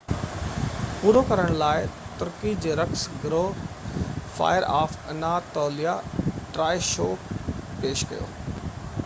پورو ڪرڻ لاءِ ترڪي جي رقص گروه fire of Anatolia Troy show پيش ڪيو